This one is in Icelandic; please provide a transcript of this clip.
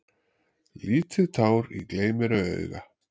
Lítið tár í gleym-mér-ei-auga.